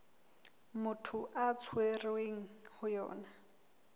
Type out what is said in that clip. motho a tshwerweng ho yona